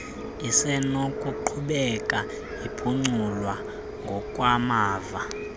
isenokuqhubeka iphuculwa ngokwamava